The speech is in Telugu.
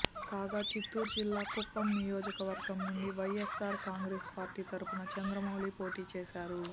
కాగా చిత్తూరు జిల్లా కుప్పం నియోజకవర్గం నుంచి వైఎస్సార్ కాంగ్రెస్ పార్టీ తరఫున చంద్రమౌళి పోటీ చేశారు